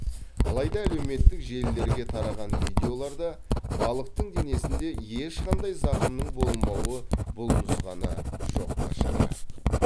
алайда әлеуметтік желілерге тараған видеоларда балықтың денесінде ешқандай зақымның болмауы бұл нұсқаны жоққа шығарады